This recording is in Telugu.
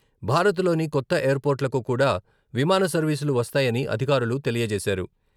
భారత్లోని కొత్త ఎయిర్పోర్టులకు కూడా విమాన సర్వీసులు వస్తాయని అధికారులు తెలియజేశారు.